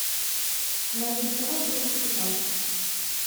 найди кино три толстяка